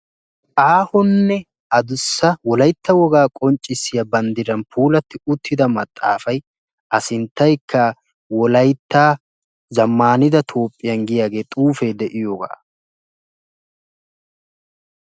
aahonne addussa wolaytta wolaytta wogaa qonccissiya banddiran puulati uttida maxaafay a sinttaykka wolaytta zammanida toophiya giyaage xuufe diyooga.